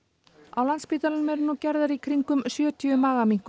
á Landspítalanum eru nú gerðar í kringum sjötíu